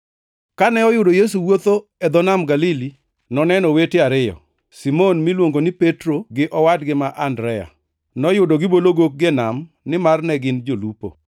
Kane oyudo Yesu wuotho e dho Nam Galili, noneno owete ariyo, Simon miluongo ni Petro gi owadgi ma Andrea. Noyudo gibolo gokgi e nam, nimar ne gin jolupo.